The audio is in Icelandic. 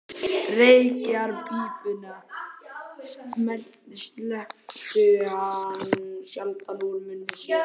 Reykjarpípunni sleppti hann sjaldan úr munni sér.